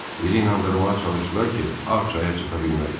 Bizi inandırmağa çalışdılar ki, Ağ çaya çata bilmərik.